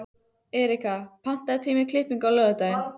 Erika, pantaðu tíma í klippingu á laugardaginn.